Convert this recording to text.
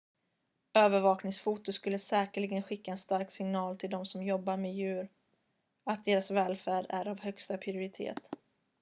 """övervakningsfoto skulle säkerligen skicka en stark signal till de som jobbar med djur att deras välfärd är av högsta prioritet.""